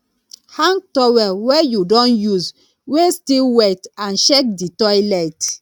hang towel wey you don use wey still wet and check di toilet